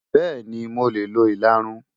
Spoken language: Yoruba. Bẹ́ẹ̀ni, mo lè lo ìlarun.